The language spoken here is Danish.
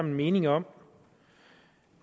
en mening om